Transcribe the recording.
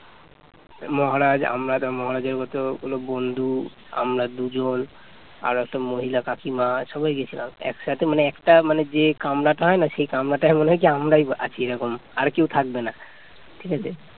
মহারাজ আমার মহারাজের মতো কোনো বন্ধু আমরা দুজন আর একটা মহিলা কাকিমা সবাই গেছিলাম একসাথে মানে একটা যে কামরাটা হয় না সে কামড়াটাই মনে হয় কি আমরাই আছি এইরকম আর কেউ থাকবে না ঠিক আছে